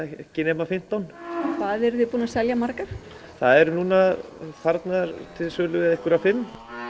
ekki nema fimmtán hvað eruð þið búin að selja margar það eru núna farnar til sölu einhverjar fimm